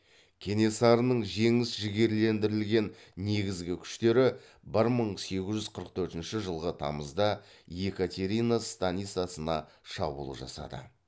кенесарының жеңіс жігерлендірілген негізгі күштері бір мың сегіз жүз қырық төртінші жылғы тамызда екатерина станицасына шабуыл жасады